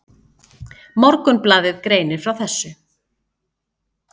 Morgunblaðið greinir frá þessu.